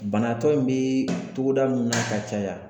Banatɔ in bɛ togoda min na ka caya